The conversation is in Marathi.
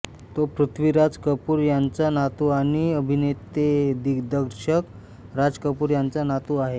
तो पृथ्वीराज कपूर यांचा नातू आणि अभिनेतेदिग्दर्शक राज कपूर यांचा नातू आहे